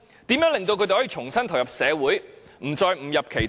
如何令他們重新投入社會，不再誤入歧途？